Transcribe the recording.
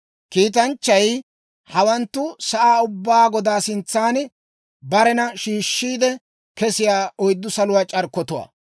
Kiitanchchay, «Hawanttu sa'aa ubbaa Godaa sintsan barena shiishshiide kesiyaa oyddu saluwaa c'arkkotuwaa.